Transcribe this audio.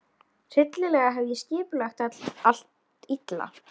Hryllilega hef ég skipulagt allt illa.